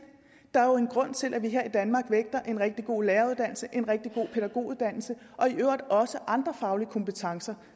der er jo en grund til at vi her i danmark vægter en rigtig god læreruddannelse en rigtig god pædagoguddannelse og i øvrigt også andre faglige kompetencer